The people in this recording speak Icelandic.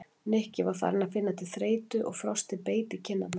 Nikki var farinn að finna til þreytu og frostið beit í kinn- arnar.